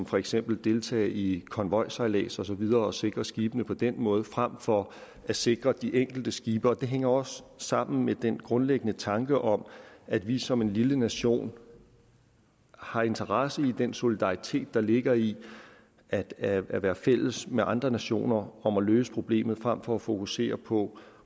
for eksempel at deltage i konvojsejlads og så videre og sikre skibene på den måde frem for at sikre de enkelte skibe det hænger også sammen med den grundlæggende tanke om at vi som en lille nation har interesse i den solidaritet der ligger i at at være fælles med andre nationer om at løse problemet frem for at fokusere på